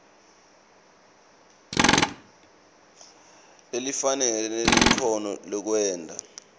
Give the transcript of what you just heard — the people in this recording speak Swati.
lelifanele nelikhono lekwenta